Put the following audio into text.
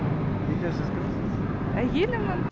үйде сіз кімсіз әйелімін